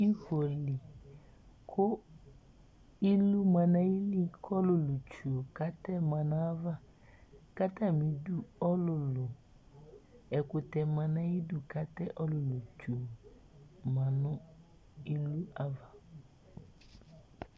ifoli, kʊ ilu ma nʊ ayili kʊ ɔlʊlʊ tsue, katɛma nʊ ayava, kʊ atamidu ɔlʊlʊ, ɛkʊtɛ ma nʊ ayidu, kʊ atɛ ɔlʊlʊ tsue ma nʊ ilu yɛ ava